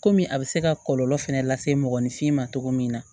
Kɔmi a bɛ se ka kɔlɔlɔ fɛnɛ lase mɔgɔninfin ma cogo min na